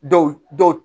Dɔw dɔw